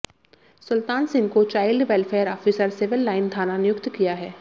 सुलतान सिंह को child welfare officer civil line थाना नियुक्त किया है